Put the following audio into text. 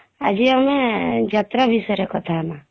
ଆଜି ଆମେ ଯାତ୍ରା ବିଷୟରେ କଥା ହଁମା